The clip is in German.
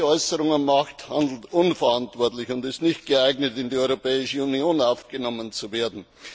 Wer solche Äußerungen macht, handelt unverantwortlich und ist nicht geeignet, in die Europäische Union aufgenommen zu werden!